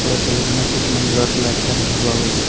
ওপৰৰ ছবিখনত কিছুমান ৰদ ওলাই থকা দেখা পোৱা গৈছে।